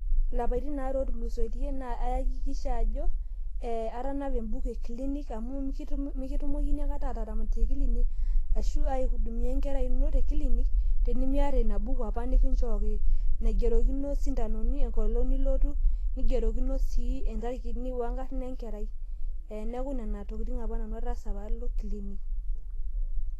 Ilapaitin aare ootulusoitie naa ayakikisha ajo atanapa ebuku ekilinik, mikitumokini akata aihudumiya enkerai ino tinitu iya enapa buku nikichooki, nagerokino isindanoni, netii sii inkarn enkerai wengolong' sii nibayie kilinik.